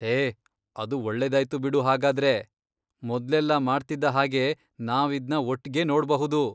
ಹೇ, ಅದು ಒಳ್ಳೆದಾಯ್ತು ಬಿಡು ಹಾಗಾದ್ರೆ, ಮೊದ್ಲೆಲ್ಲ ಮಾಡ್ತಿದ್ದ ಹಾಗೆ ನಾವ್ ಇದ್ನ ಒಟ್ಗೆ ನೋಡ್ಬಹುದು.